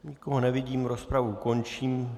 Nikoho nevidím, rozpravu končím.